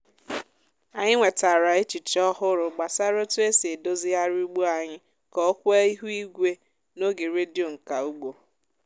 anyị nwetara echiche ọhụrụ gbasara otu esi edozigharị ugbo anyị ka o kwee ihu igwe n’oge redio nka ugbo